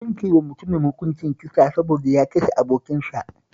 An yanke wa mutumin hukuncin kisa saboda ya kashe abokinsa